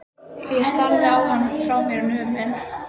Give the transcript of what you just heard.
Ég starði á hann, frá mér numin.